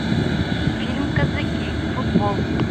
фильм казаки футбол